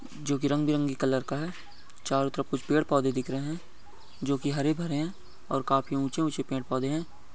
जो की रंग बिरंगी कलर का है चारों तरफ कुछ पेड़ पौधे दिख रहे हैं जो की हरे भरे हैं और काफी ऊंचे ऊंचे पेड़ पौधे हैं।